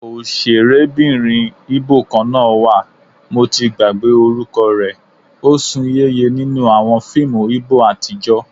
Ọ̀sẹ̀rébìnrin Íbò kan náà wà, mo ti gbàgbé orúkọ rẹ, ó sún yéye nínú àwọn fíìmù Íbò àtijọ́